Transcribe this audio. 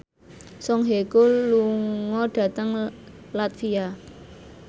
Song Hye Kyo lunga dhateng latvia